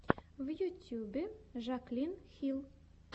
в ютьюбе жаклин хилл